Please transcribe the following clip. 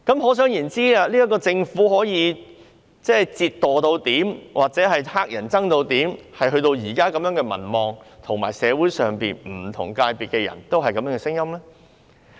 可想而知，這個政府是多麼令人討厭，民望有多低，令現時社會上不同界別的人士也發出相同的聲音。